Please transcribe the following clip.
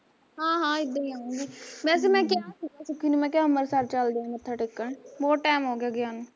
ਹਾਂ ਹਾਂ ਏਦਾਂ ਈ ਆਊਗੀ, ਵੈਸੇ ਮੈਂ ਕਿਹਾ ਸੀਗਾ ਸੁਖੀ ਨੂੰ ਮੈਂ ਕਿਹਾਂ ਅਬਰਸਰ ਚੱਲਦੇ ਆ ਮੱਥਾ ਟੇਕਣ, ਬਹੁਤ ਟੈਮ ਹੋਗਿਆ ਗਿਆ ਨੂੰ